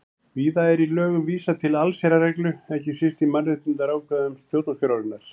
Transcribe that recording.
Víða er í lögum vísað til allsherjarreglu, ekki síst í mannréttindaákvæðum stjórnarskrárinnar.